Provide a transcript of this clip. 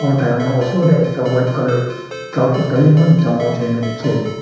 aru taikhan la osor te ekta white colour truck eman dangor jaikena dikhi ase.